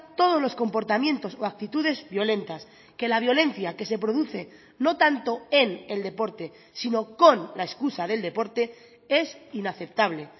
todos los comportamientos o actitudes violentas que la violencia que se produce no tanto en el deporte sino con la excusa del deporte es inaceptable